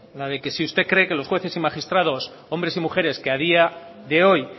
la de que si usted cree que los jueces y magistrados hombres y mujeres que a día de hoy